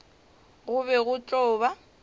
go be go tlo ba